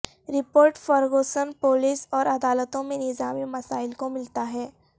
report Ferguson police اور عدالتوں میں نظامی مسائل کو ملتا ہے